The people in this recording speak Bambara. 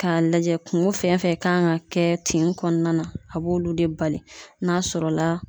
K'a lajɛ kungo fɛn fɛn kan ka kɛ tin kɔnɔna na a b'olu de bali n'a sɔrɔ la